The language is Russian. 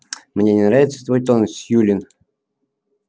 мне не нравится твой тон сьюлин